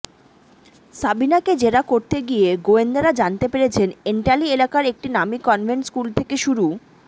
সাবিনাকে জেরা করতে গিয়ে গোয়েন্দারা জানতে পেরেছেন এন্টালি এলাকার একটি নামী কনভেন্ট স্কুল থেকে শুরু